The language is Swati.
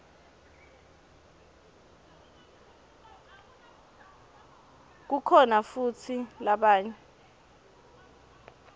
kukhona futsi labanye